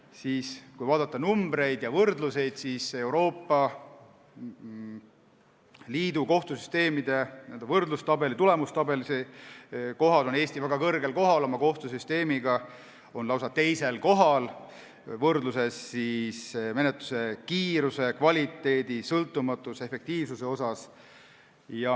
Kui aga vaadata numbreid ja võrdluseid, siis näeme, et Euroopa Liidu kohtusüsteemide tabelis on Eesti oma kohtusüsteemiga väga kõrgel kohal, lausa teisel kohal menetluse kiiruse, kvaliteedi, sõltumatuse ja efektiivsuse poolest.